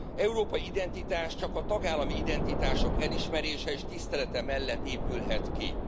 Európai identitás csak a tagállami identitások elismerése és tisztelete mellett épülhet ki.